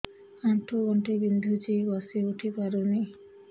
ଆଣ୍ଠୁ ଗଣ୍ଠି ବିନ୍ଧୁଛି ବସିଉଠି ପାରୁନି